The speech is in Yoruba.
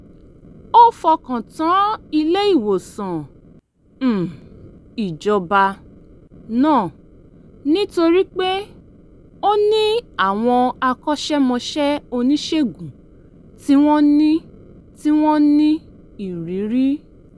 ó fọkàn tán ilé-ìwòsàn um ìjọba náà nítorí pé ó ní àwọn akọ́ṣẹ́mọṣẹ́ oníṣègùn tí wọ́n ní tí wọ́n ní ìrírí